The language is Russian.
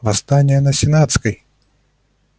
восстание на сенатской